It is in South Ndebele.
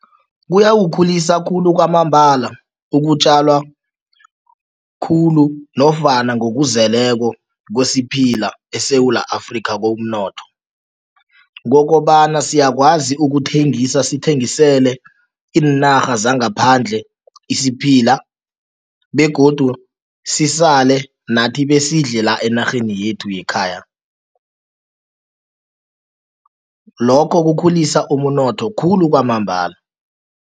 Kuyawukhulisa khulu kwamambala ukutjalwa khulu nofana ngokuzeleko kwesiphila eSewula Afrika komnotho kokobana siyakwazi ukuthengisa, sithengisele iinarha zangaphandle isiphila begodu sisale nathi besidle la enarheni yethu yekhaya. Lokho kukhulisa umnotho khulu kwamambala.